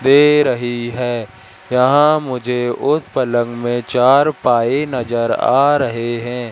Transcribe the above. दे रही है यहाँ मुझे उस पलंग में चार पाए नजर आ रहे है।